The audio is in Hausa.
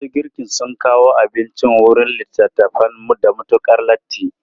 Masu girkin sun kawo abinci wurin littafan da matukar latti.